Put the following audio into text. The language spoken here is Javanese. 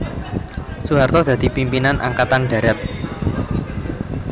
Soeharto dadi pimpinan Angkatan Darat